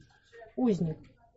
узник